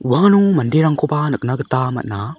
uano maderangkoba nikna gita man·a.